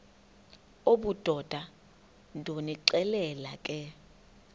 obudoda ndonixelela ke